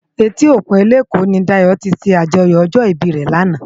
Éti ókún Eleko ni Dayo ti sé ájòyò òjò ibi re làná